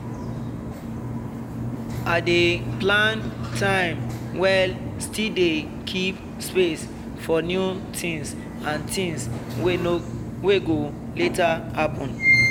i dey plan time well still dey keep space for new things and things wey go later happen.